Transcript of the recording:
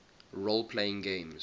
role playing games